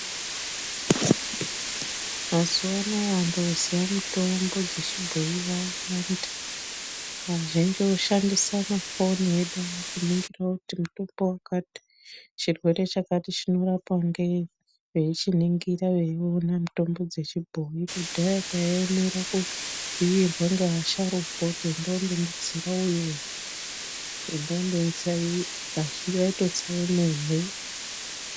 Mazuwa anaya vantu voziya mitombo dzechibhoyi yawanda vazhinji voshandisa mafoni edu awa kuningira kuti mutombo wakati chirwere chakati chinorapwa ngei veichiningira veiona mutombo dzechibhoyi, kudhaya taiemera kubhuyirwe neasharukwa kuti enda undonditsira uyu asi vaitotsa vemene.